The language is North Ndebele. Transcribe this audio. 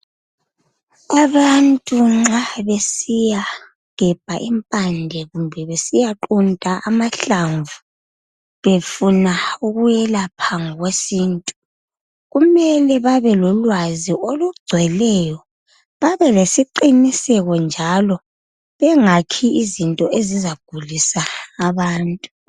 Abantu nxa besiyagebha impande kumbe besiqunta amahlamvu befuna ukuyelapha ngokwesintu kumele babelolwazi olugcweleyo babelesiqiniseko njalo bengakhi izinto ezizagulisa abantu.